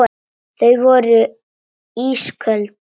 Þau voru ísköld.